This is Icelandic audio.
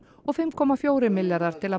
og fimm komma fjórir milljarðar til